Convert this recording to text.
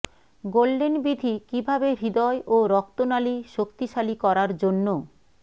golden বিধি কিভাবে হৃদয় ও রক্তনালী শক্তিশালী করার জন্য